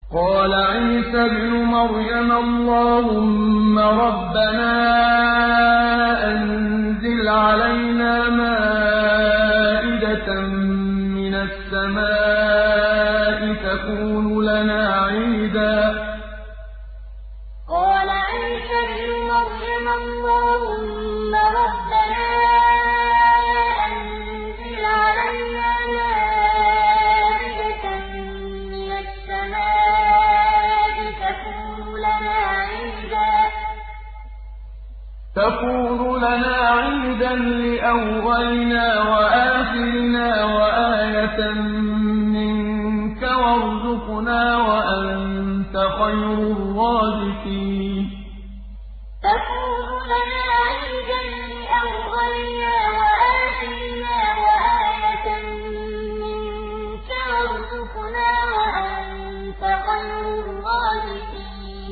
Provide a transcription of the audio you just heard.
قَالَ عِيسَى ابْنُ مَرْيَمَ اللَّهُمَّ رَبَّنَا أَنزِلْ عَلَيْنَا مَائِدَةً مِّنَ السَّمَاءِ تَكُونُ لَنَا عِيدًا لِّأَوَّلِنَا وَآخِرِنَا وَآيَةً مِّنكَ ۖ وَارْزُقْنَا وَأَنتَ خَيْرُ الرَّازِقِينَ قَالَ عِيسَى ابْنُ مَرْيَمَ اللَّهُمَّ رَبَّنَا أَنزِلْ عَلَيْنَا مَائِدَةً مِّنَ السَّمَاءِ تَكُونُ لَنَا عِيدًا لِّأَوَّلِنَا وَآخِرِنَا وَآيَةً مِّنكَ ۖ وَارْزُقْنَا وَأَنتَ خَيْرُ الرَّازِقِينَ